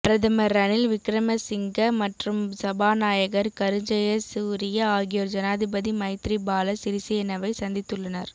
பிரதமர் ரணில் விக்கரமசிங்க மற்றும் சபாநாயகர் கருஜயசூரிய ஆகியோர் ஜனாதிபதி மைத்திரிபால சிறிசேனவை சந்தித்துள்ளனர்